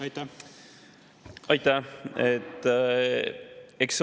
Aitäh!